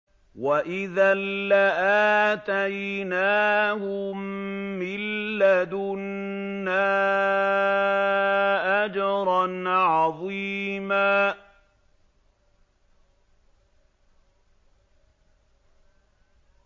وَإِذًا لَّآتَيْنَاهُم مِّن لَّدُنَّا أَجْرًا عَظِيمًا